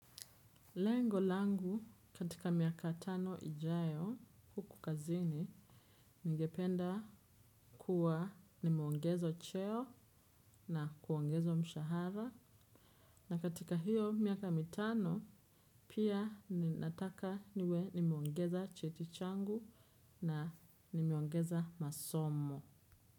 Lengo langu, katika miaka tano ijayo huku kazini, ningependa kuwa nimeongezwa cheo na kuongezwa mshahara na katika hiyo miaka mitano, pia, ninataka niwe nimeongeza cheti changu na nimeongeza masomo.